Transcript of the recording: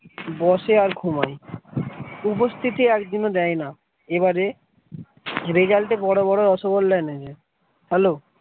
বসে আর ঘুমায় উপস্থিতি একদিনও দেয় না এবারে result এ বড় বড় রসগোল্লা এনেছে hello ।